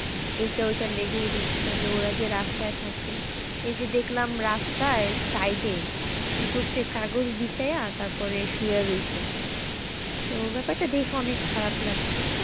এইটা ওটা লেগেই রয়েছে তালে ওরা যে রাস্তায় থাকে এই যে দেখলাম রাস্তার side এ কি করছে কাগজ বিছাইয়া তারপর শুয়ে রয়েছে তো ব্যাপারটা দেখে অনেক খারাপ লাগসে।